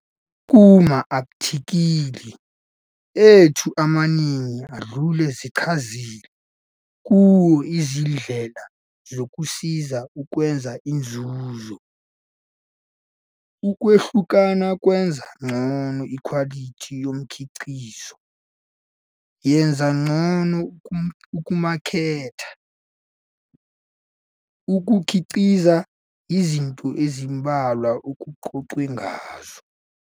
Kuma-athikhili ethu amaningi adlule sichazile kuwo izindlela zokusiza ukwenza inzuzo. Ukwahlukana, kwenza ngcono ikhwalithi yomkhiqizo, yenza ngcono ukumaketha, ukukhiqiza, yizinto ezimbalwa okuxoxwe ngazo.